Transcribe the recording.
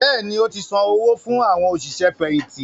Bẹ́ẹ̀ni, ó ti san owó fún “ àwọn òṣìṣẹ́ fẹ̀yìntì”